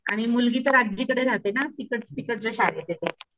आणि मुलगी तर आजीकडे राहते ना तिकडं तिकडच्या शाळेते ती.